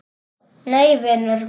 Nei, vinur minn.